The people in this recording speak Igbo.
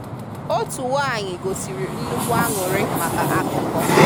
Òtù nwanyị gosìrì nnukwu àńụ̀rị maka akụkọ.